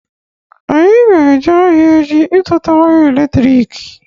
Anyị ga-eje ahịa echi ịzụta waya elektriki